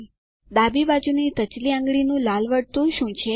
ડાબી બાજુની ટચલી આંગળી નું લાલ વર્તુળ શું છે